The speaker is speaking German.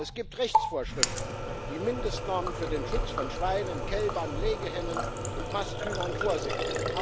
Es gibt Rechtsvorschriften, die Mindestnormen für den Schutz von Schweinen, Kälbern, Legehennen und Masthühnern vorsehen.